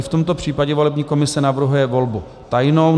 I v tomto případě volební komise navrhuje volbu tajnou.